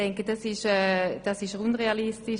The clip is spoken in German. Ich denke, das ist unrealistisch.